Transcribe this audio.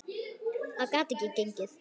Það gat ekki gengið.